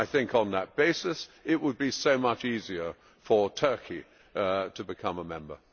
On that basis, it would be so much easier for Turkey to become a member.